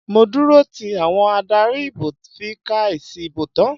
Mo dúró tí àwọn adarí ìbò fi ka èsì ìbò tán.